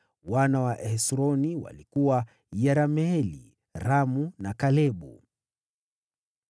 Wana wa Hesroni walikuwa: Yerameeli, Ramu na Kalebu.